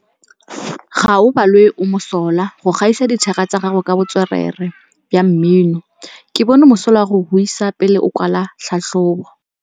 Gaolebalwe o mosola go gaisa dithaka tsa gagwe ka botswerere jwa mmino. Ke bone mosola wa go buisa pele o kwala tlhatlhobô.